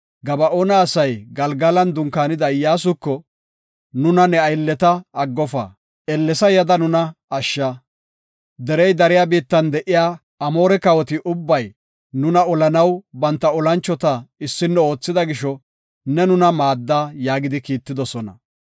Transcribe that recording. Gaba7oona asay Galgalan dunkaanida Iyyasuko, “Nuna ne aylleta aggofa; ellesa yada nuna ashsha. Derey dariya biittan de7iya Amoore kawoti ubbay nuna olanaw banta olanchota issino oothida gisho, ne nuna maadda” yaagidi kiittidosona.